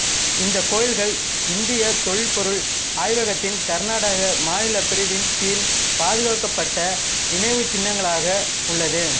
இந்த கோயில்கள் இந்திய தொல்பொருள் ஆய்வகத்தின் கர்நாடக மாநில பிரிவின் கீழ் பாதுகாக்கப்பட்ட நினைவுச்சின்னங்களாக உள்ளது